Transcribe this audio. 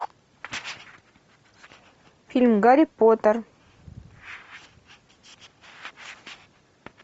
фильм гарри поттер